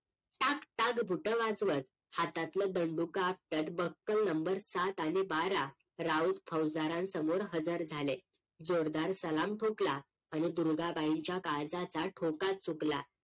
बुटं वाजवत हातातलं दंडुका आपटत बकल नंबर साथ आणि बारा राऊत फौजदारांसमोर हजर झाले जोरदार सलाम ठोकला आणि दुर्गाबाईंच्या काळजाचा ठोकाच चुकला